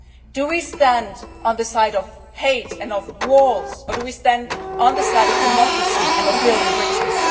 Do we stand on the side of hate and of walls, or do we stand on the side of democracy and of building bridges?